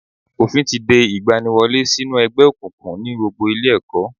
Òfín ti de ìgbaniwọlé sí nú ẹgbẹ́ òkùnkùn ní gbogbo ilé ẹ̀kọ́